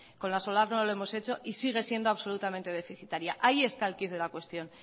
con la solar no lo hemos hecho y sigue siendo absolutamente deficitaria ahí está el quid de la cuestión